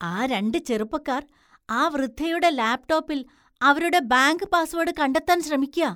ആ രണ്ട് ചെറുപ്പക്കാർ ആ വൃദ്ധയുടെ ലാപ്ടോപ്പിൽ അവരുടെ ബാങ്ക് പാസ്വേഡ് കണ്ടെത്താൻ ശ്രമിയ്ക്കാ.